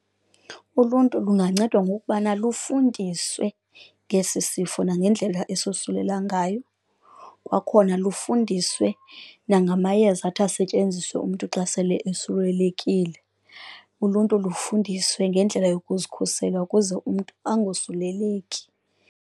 Uluntu lungancedwa ngokubana lufundiswe ngesi sifo nangendlela esosulela ngayo, kwakhona lufundiswe nangamayeza athi asetyenziswe umntu xa sele osulelekile, uluntu lufundiswe ngendlela yokuzikhusela ukuze umntu angosuleleki.